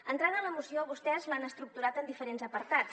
entrant a la moció vostès l’han estructurat en diferents apartats